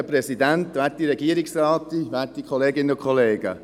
Sie haben uns ordentlich die Leviten gelesen.